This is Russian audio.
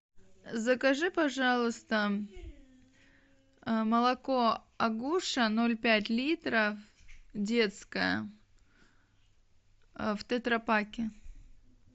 закажи пожалуйста молоко агуша ноль пять литров детское в тетрапаке